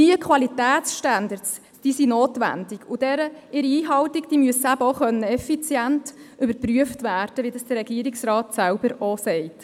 Diese Qualitätsstandards sind notwendig, und die Einhaltung derselben muss effizient überprüft werden können, wie dies der Regierungsrat selber auch sagt.